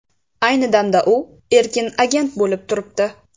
Ayni damda u erkin agent bo‘lib turibdi.